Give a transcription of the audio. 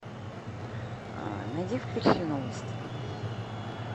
найди включи новости